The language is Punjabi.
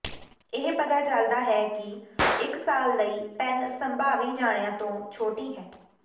ਇਹ ਪਤਾ ਚਲਦਾ ਹੈ ਕਿ ਇਕ ਸਾਲ ਲਈ ਪੈੱਨ ਸੰਭਾਵੀ ਜਣਿਆ ਤੋਂ ਛੋਟੀ ਹੈ